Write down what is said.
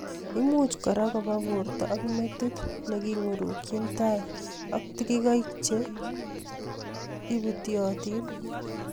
Imuch kora kopaar porta ak metit ne kiing'urkchi tai ak tikikaik che ibutchotin